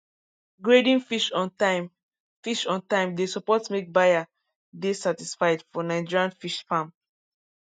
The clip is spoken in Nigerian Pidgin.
grading fish on time fish on time dey support make buyer dey satisfied for nigerian fish farms